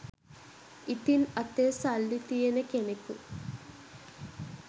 ඉතින් අතේ සල්ලි තියෙන කෙනෙකු